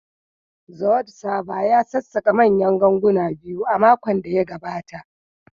The wood Carver ya sassaƙa manyan ganguna biyu a makon da ya gabata